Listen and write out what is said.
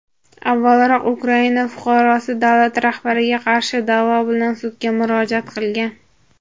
Avvalroq Ukraina fuqarosi davlat rahbariga qarshi da’vo bilan sudga murojaat qilgan.